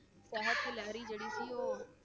ਜਿਹੜੀ ਸੀ ਉਹ